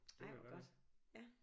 Ej hvor godt ja